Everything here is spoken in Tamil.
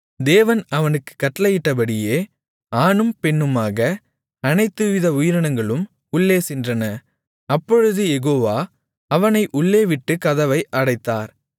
தேவன் அவனுக்குக் கட்டளையிட்டபடியே ஆணும் பெண்ணுமாக அனைத்துவித உயிரினங்களும் உள்ளே சென்றன அப்பொழுது யெகோவா அவனை உள்ளே விட்டுக் கதவை அடைத்தார்